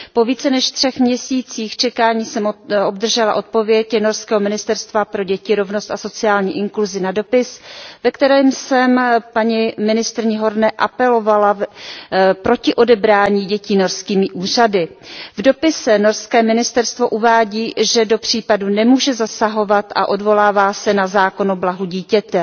Po více než 3 měsících čekání jsem obdržela odpověď norského Ministerstva pro děti, rovnost a sociální inkluzi na dopis, ve kterém jsem na paní ministryni Horneovou apelovala proti odebrání dětí norskými úřady. V dopise norské ministerstvo uvádí, že do případu nemůže zasahovat a odvolává se na zákon o blahu dítěte.